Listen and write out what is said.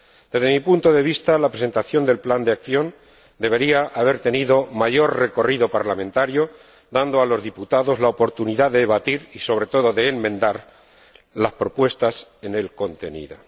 Desde mi punto de vista, la presentación del plan de acción debería haber tenido mayor recorrido parlamentario dando así a los diputados la oportunidad de debatir y, sobre todo, de enmendar las propuestas en él contenidas.